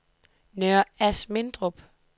Nørre Asmindrup